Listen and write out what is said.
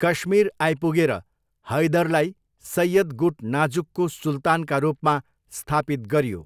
कश्मीर आइपुगेर, हैदरलाई सय्यद गुट नाजुकको सुल्तानका रूपमा स्थापित गरियो।